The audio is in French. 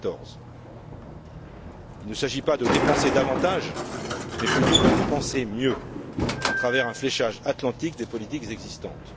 2014. Il ne s'agit pas de dépenser davantage mais plutôt de dépenser mieux à travers un fléchage atlantique des politiques existantes.